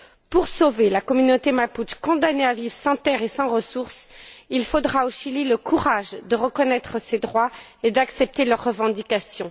Pour sauver la communauté mapuche, condamnée à vivre sans terres et sans ressources, il faudra au Chili le courage de reconnaître ses droits et d'accepter ses revendications.